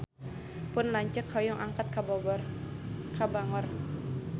Pun lanceuk hoyong angkat ka Bangor